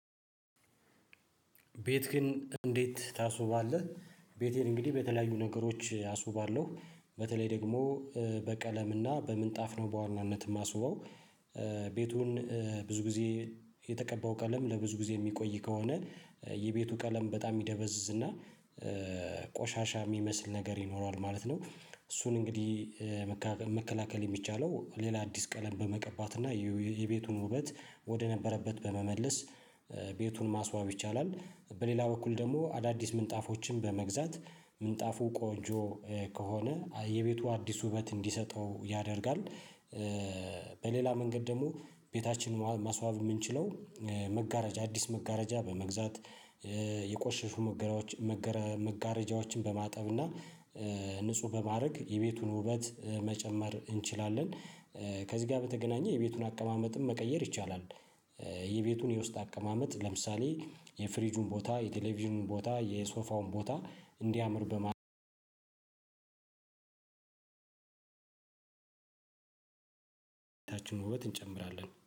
ቤትክን እንዴት ታስውባለህ? ቤቴን እንግዲህ በተለያዩ ነገሮች አስውባለሁ በተለይ ደግሞ በቀለምና በምንጣፍ ነው በዋናነት የማስበው። ቤቱን ብዙ ግዜ የተቀባው ቀለም ለብዙ ግዜ የሚቆይ ከሆነ የቤቱ ቀለም በጣም ይደበዝዝ እና ቆሻሻ የሚመስል ነገር ይኖረዋል ማለት ነው። እሱን እንግዲህ መከላከል የሚቻለው ሌላ አዲስ ቀለም በመቀባት እና የቤቱን ውበት ወደ ነበረበት በመመለስ ቤቱን ማስዋብ ይቻላል። በሌላ በኩል ደግሞ አዳዲስ ምንጣፎችን በመግዛት ምንጣፉ ቆንጆ ከሆነ የቤቱ አዲስ ውበት እንዲሰጠው ያደርጋል። በሌላ መንገድ ደግሞ ቤታችንን ማስዋብ ምንችለው መጋረጃ አዲስ መጋረጃ በመግዛት የቆሸሹ መጋረጃዎችን መጋረጃዎችን በማጠብና ንዑህ በማረግ የቤቱን ዉበት መጨመር እንችላለን። ከዚ ጋር በተገናኘ የቤቱን አቀማመጥንም መቀየር ይቻላል። የቤቱን የውስጥ አቀማመጥ ለምሳሌ የፍርጁን ቦታ የቴሌቭዥኑን ቦታ የሶፋውን ቦታ እንዲያምር በማድረግ ታችን ውበት እንጨምራለን